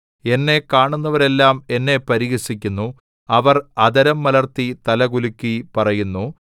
എന്നെ കാണുന്നവരെല്ലാം എന്നെ പരിഹസിക്കുന്നു അവർ അധരം മലർത്തി തലകുലുക്കി പറയുന്നു